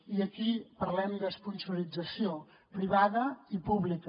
i aquí parlem d’esponsorització privada i pública